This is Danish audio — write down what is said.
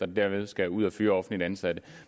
dermed skal ud at fyre offentligt ansatte